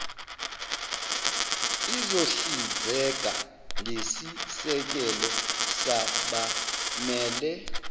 izohlinzeka ngesisekelo sabamele